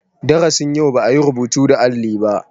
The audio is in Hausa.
Darasin yau ba yi rubutu da alli ba.